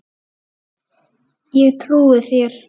Ég trúi þér